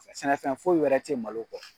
S sɛnɛfɛn foyi wɛrɛ te ye malo kɔ.